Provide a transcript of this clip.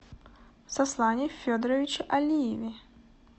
сослане федоровиче алиеве